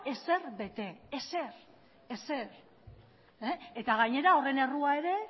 ezer bete ezer ezer eta gainera horren errua ere